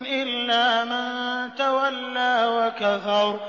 إِلَّا مَن تَوَلَّىٰ وَكَفَرَ